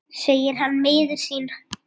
segir hann miður sín.